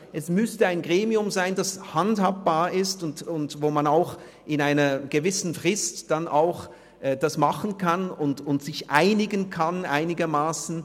Es müsste ein Gremium sein, das handhabbar ist, sodass es innerhalb einer gewissen Frist machbar ist und man sich einigermassen einigen kann.